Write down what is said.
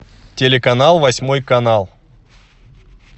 телеканал восьмой канал